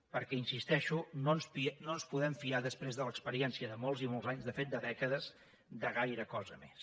perquè hi insisteixo no ens podem fiar després de l’experiència de molts i molts anys de fet de dècades de gaire cosa més